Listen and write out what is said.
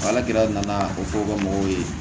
ala de nana a ko fɔ bamakɔ ye